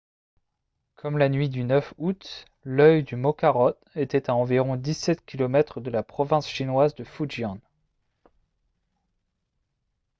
comme la nuit du 9 août l'œil du mokarot était à environ 17 km de la province chinoise de fujian